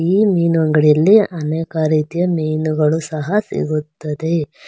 ಈ ಮೀನು ಅಂಗಡಿಯಲ್ಲಿ ಅನೇಕ ರೀತಿಯ ಮೀನುಗಳು ಸಹ ಸಿಗುತ್ತದೆ.